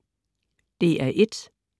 DR1: